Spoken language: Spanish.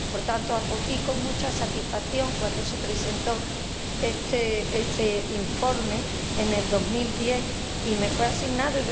Por tanto, acogí con mucha satisfacción cuando se presentó este informe en 2010 y me fue asignado